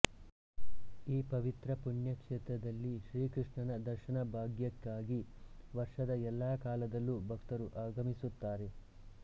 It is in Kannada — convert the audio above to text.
ಈ ಪವಿತ್ರ ಪುಣ್ಯಕ್ಷೇತ್ರದಲ್ಲಿ ಶ್ರೀಕೃಷ್ಣನ ದರ್ಶನಭಾಗ್ಯಕ್ಕಾಗಿ ವರ್ಷದ ಎಲ್ಲ ಕಾಲದಲ್ಲೂ ಭಕ್ತರು ಆಗಮಿಸುತ್ತಾರೆ